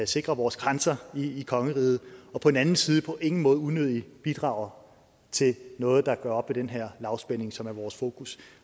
sikre vores grænser i kongeriget og på den anden side på ingen måde unødigt bidrager til noget der gør op med den her lavspænding som er vores fokus